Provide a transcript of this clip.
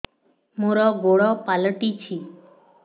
ମୋର ଗୋଡ଼ ପାଲଟିଛି